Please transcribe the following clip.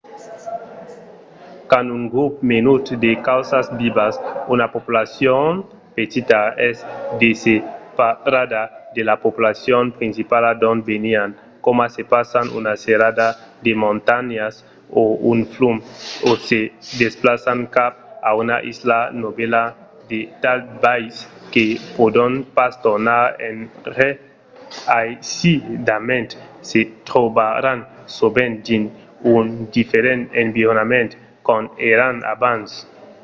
quand un grop menut de causas vivas una populacion petita es desseparada de la populacion principala d’ont venián coma se passan una serrada de montanhas o un flum o se se desplaçan cap a una isla novèla de tal biais que pòdon pas tornar enrè aisidament se trobaràn sovent dins un diferent environment qu'ont èran abans